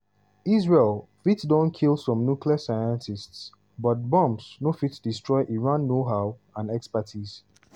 israel fit don kill some nuclear scientists but bombs no fit destroy iran knowhow and expertise.